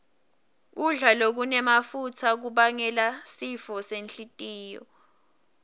kudla lokunemafutsa kubangela sifo senhlitiyo